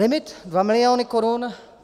Limit 2 miliony korun.